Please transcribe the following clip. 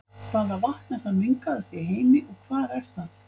Hvaða vatn er það mengaðasta í heimi og hvar er það?